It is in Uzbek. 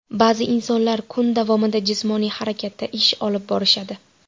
Ba’zi insonlar kun davomida jismoniy harakatda ish olib borishadi.